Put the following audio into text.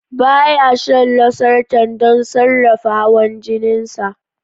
Ba ya shan losartan don sarrafa hawan jinin sa.